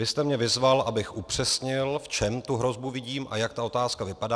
Vy jste mě vyzval, abych upřesnil, v čem tu hrozbu vidím a jak ta otázka vypadá.